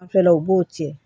Fɛn law b'o cɛn